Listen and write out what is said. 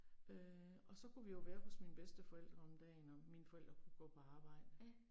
Øh og så kunne vi jo være hos mine bedsteforældre om dagen og mine forældre kunne gå på arbejde